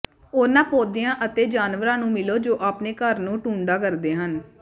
ਉਨ੍ਹਾਂ ਪੌਦਿਆਂ ਅਤੇ ਜਾਨਵਰਾਂ ਨੂੰ ਮਿਲੋ ਜੋ ਆਪਣੇ ਘਰ ਨੂੰ ਟੁੰਡਾ ਕਰਦੇ ਹਨ